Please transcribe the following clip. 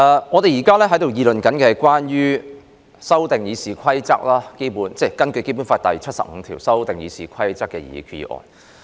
我們現在辯論的，是根據《基本法》第七十五條動議修訂《議事規則》的擬議決議案。